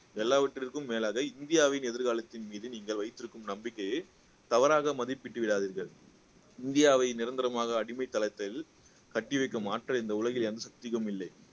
எல்லாவற்றிற்கும் மேலாக இந்தியாவின் எதிர்காலத்தின் மீது நீங்கள் வைத்திருக்கும் நம்பிக்கைய தவறாக மதிப்பிட்டு விடாதீர்கள் இந்தியாவை நிரந்தரமாக அடிமைத்தனத்தில் கட்டி வைக்கும் ஆற்றல் இந்த உலகில் எந்த சக்திக்கும் இல்லை